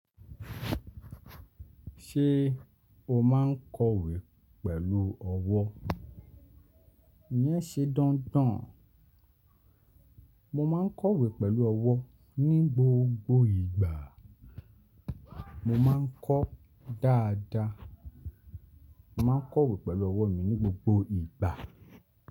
Ṣé o máa ń kọ̀wé pẹ̀lú ọwọ́? E yen ṣe dandan? Mo máa ń kọ̀wé pẹ̀lú ọwọ́ ní gbogbo ìgbà. Mo má ń kọ dáadáa. Mo máa ń kọ̀wé pẹ̀lú ọwọ́ mi ní gbogbo ìgbà.